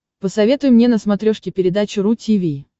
посоветуй мне на смотрешке передачу ру ти ви